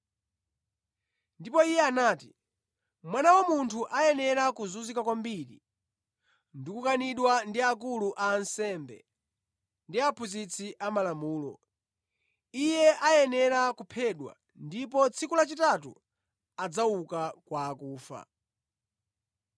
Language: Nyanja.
Ndipo Iye anati, “Mwana wa Munthu ayenera kuzunzika kwambiri ndi kukanidwa ndi akulu a ansembe ndi aphunzitsi amalamulo, Iye ayenera kuphedwa ndipo tsiku lachitatu adzauka kwa akufa.”